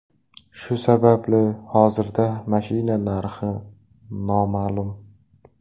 Shu sababli hozirda mashina narxi noma’lum.